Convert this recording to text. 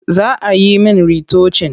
Za a yi min ritocin.